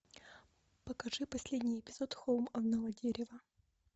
покажи последний эпизод холм одного дерева